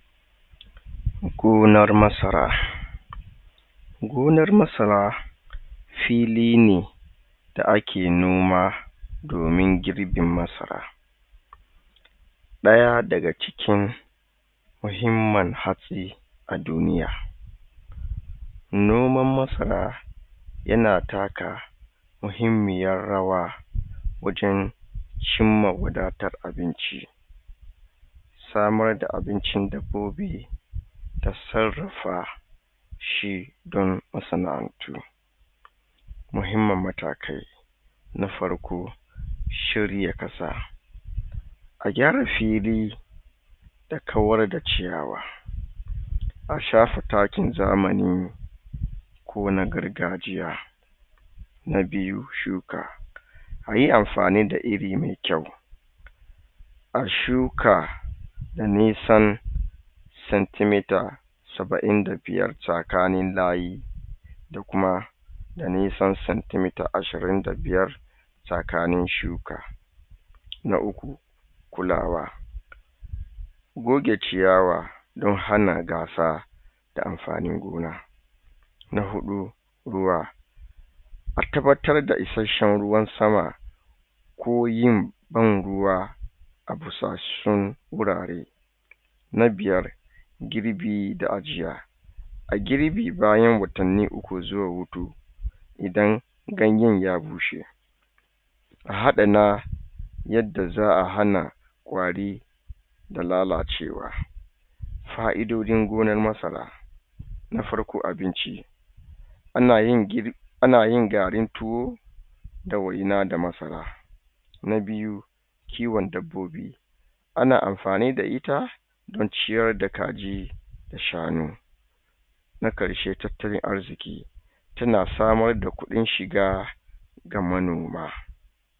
Gonar masara, Gonar masara, fili ne da ake noma domin girbin masara ɗaya daga cikin muhimmin hatsi a duniya. Noman masara yana taka muhimmiyar rawa wajen dan cimma wadatar abinci. Samar da abincin dabbobi ta sarrafa shi dan masaʼantu. Muhimman matakai na farko shirya ƙasa, a gyara fili da kawar da ciyawa a shafa takin zamani ko na gargajiya. Na biyu shuka, a yi amfani da iri mai kyau a shuka da nisan centimeter sabaʼin da biyar tsakanin layi da kuma da nisan centimetre ashirin da biyar tsakanin shuka. Na uku kulawa, goge ciyawa dan hana ga sa da amfanin gona. Na hudu ruwa, a tabbatar da ruwan sama ko yin ban ruwa a busassun wurare. Na biyar girbi da ajiya, a girbe bayan watanni uku zuwa huɗu idan ganyen ya bushe. A adana yadda za a hana ƙwari da lalacewa. Faiʼdojin gonar masara, na farko abinci. Ana yin ana yin garin tuwo da waina da masara. Na biyu kiwon dabbobi, ana amfani da ita dan ciyar da kaji da shanu Na ƙarshe, tattalin arziki. Tana samar da kuɗin shiga ga manoma.